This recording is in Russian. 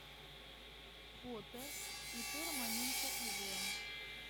фото ип романенко ив